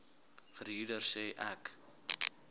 verhuurder sê ek